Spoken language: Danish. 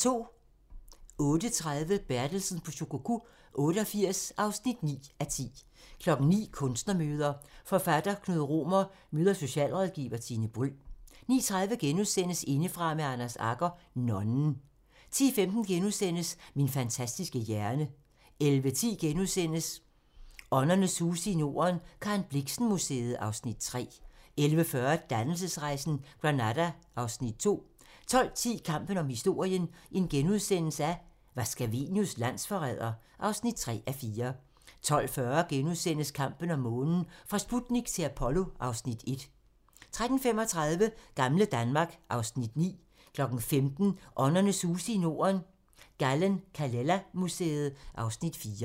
08:30: Bertelsen på Shikoku 88 (9:10) 09:00: Kunstnermøder: Forfatter Knud Romer møder socialrådgiver Tine Bryld 09:30: Indefra med Anders Agger - nonnen * 10:15: Min fantastiske hjerne * 11:10: Åndernes huse i Norden - Karen Blixen Museet (Afs. 3)* 11:40: Dannelsesrejsen - Granada (Afs. 2) 12:10: Kampen om historien - var Scavenius landsforræder? (3:4)* 12:40: Kampen om månen - fra Sputnik til Apollo (Afs. 1)* 13:35: Gamle Danmark (Afs. 9) 15:00: Åndernes huse i Norden - Gallen-Kallela Museet (Afs. 4)